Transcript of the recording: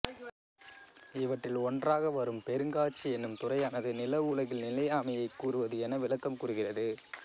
இவற்றில் ஒன்றாக வரும் பெருங்காஞ்சி என்னும் துறையானது நில உலகில் நிலையாமையைக் கூறுவது என விளக்கம் கூறுகிறது